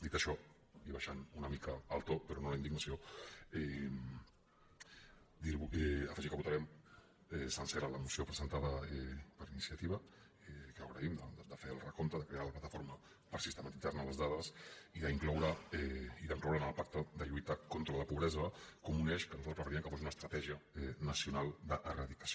dit això i abaixant una mica el to però no la indignació afegir que votarem sencera la moció presentada per iniciativa que agraïm de fer el recompte de crear la plataforma per sistematitzar ne les dades i d’incloure la en el pacte de lluita contra la pobresa com un eix que nosaltres preferiríem que fos una estratègia nacional d’eradicació